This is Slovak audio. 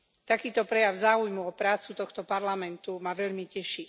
Takýto prejav záujmu o prácu tohto Parlamentu ma veľmi teší.